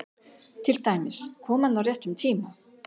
Til dæmis: Kom hann á réttum tíma?